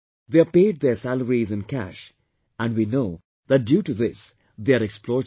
They are paid their salaries in cash and we know that due to this, they are exploited also